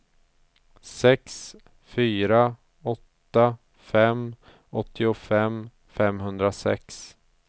sex fyra åtta fem åttiofem femhundrasex